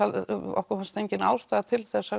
okkur fannst engin ástæða til þess